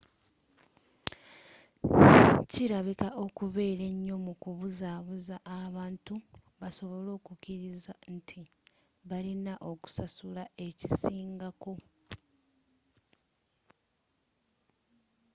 kirabika okubeera enyo mukubuzabuza abantu basobole okukiriza nti balina okusasula ekisingako